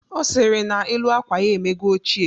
Ọ sịrị na elu akwa ya emego ochie